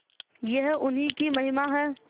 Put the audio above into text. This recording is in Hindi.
यह उन्हीं की महिमा है